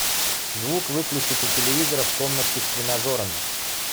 звук выключить у телевизора в комнатке с тренажерами